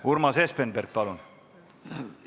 Urmas Espenberg, palun!